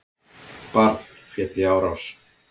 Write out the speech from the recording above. Barn féll í árás